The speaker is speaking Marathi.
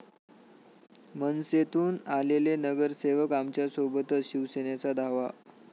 मनसेतून आलेले नगरसेवक आमच्यासोबतच, शिवसेनेचा दावा